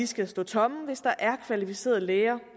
skal stå tomme hvis der er kvalificerede læger